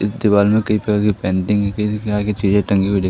दीवाल में कई प्रकार की पेंटिंग है आगे चेयर टंगी हुईं दे--